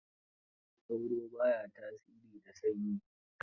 Sauro ba ya tasiri da sanyi.